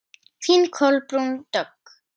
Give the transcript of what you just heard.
Þín Kolbrún Dögg.